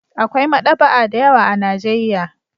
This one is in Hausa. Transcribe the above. Akwai maɗaba'a da yawa a Najeiya.